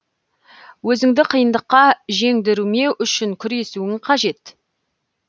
өзіңді қиындыққа жеңдірмеу үшін күресуің қажет